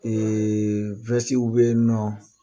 bɛ yen nɔ